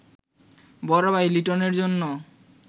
বড় ভাই লিটনের জন্য